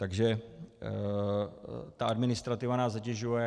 Takže ta administrativa nás zatěžuje.